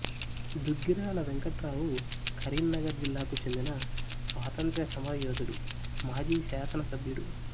దుగ్గిరాల వెంకట్రావు కరీంనగర్ జిల్లాకు చెందిన స్వాతంత్ర్య సమరయోధుడు మాజీ శాసన సభ్యుడు